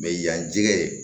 yan jɛgɛ